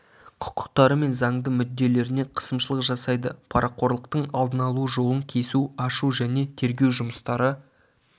құқықтары мен заңды мүдделеріне қысымшылық жасайды парақорлықтың алдын алу жолын кесу ашу және тергеу жұмыстары